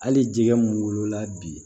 Hali jɛgɛ mun wolola bi